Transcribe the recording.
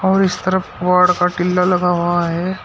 और इस तरफ पहाड़ का टिल्ला लगा हुआ है।